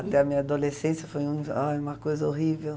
Até a minha adolescência foi um uma coisa horrível.